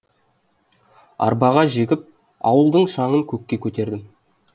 арбаға жегіп ауылдың шаңын көкке көтердім